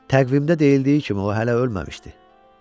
Təqvimdə deyildiyi kimi o hələ ölməmişdi.